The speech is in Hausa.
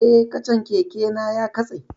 Eh, kacan keke na ya katse